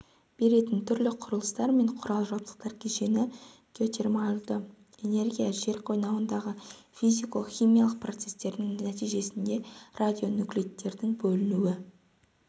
беретін түрлі құрылыстар мен құрыл-жабдықтар кешені геотермалды энергия жер қойнауындағы физико-химиялық процесстердің нәтижесінде радионуклеидтердің бөлінуі